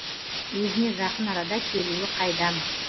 өзіне жақын арада келуі қайдам